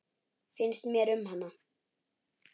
Finnst mér um hana?